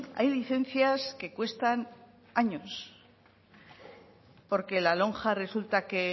hay licencias que cuestan años porque la lonja resulta que